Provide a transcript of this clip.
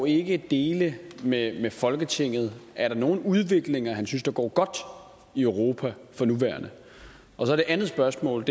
ikke dele med folketinget er der nogle udviklinger han synes går godt i europa for nuværende og det andet spørgsmål